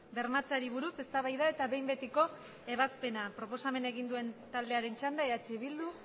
bermatzeari buruz eztabaida eta behin betiko ebazpena proposamena egin duen taldearen txanda eh bildu